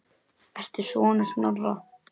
Ertu sonur Snorra?